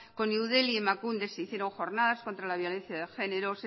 con eudel y emakunde se hicieron jornadas contra la violencia de genero